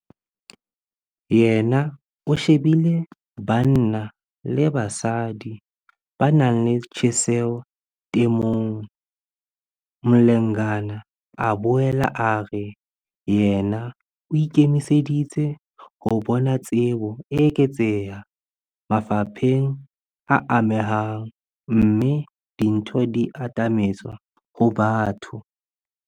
Yena o shebile banna le basadi ba nang le tjheseho temong. Mlengana a boela a re yena o ikemiseditse ho bona tsebo e eketseha mafapheng a amehang, mme dintho di atametswa ho batho.